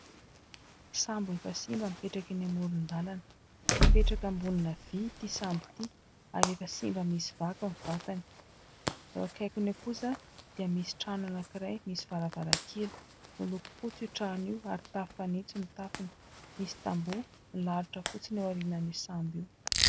Sambo efa simba mipetraka eny amoron-dalana. Mipetraka ambonina vy ity sambo ity ary efa simba misy vaky ny vatany. Eo akaikiny eo kosa dia misy trano anankiray, misy varavarakely ; miloko fotsy io trano io ary tafo fanitso ny tafony. Misy tamboho milalotra fotsiny ao aorianan'io sambo io.